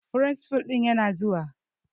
Firinsifal ɗin yana zuwa.